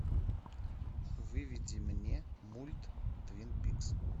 выведи мне мульт твин пикс